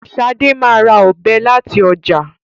Shade má rà Ọ̀bẹ láti ọjà.